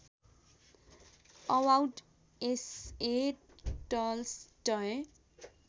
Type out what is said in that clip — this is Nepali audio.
about essay Tolstoy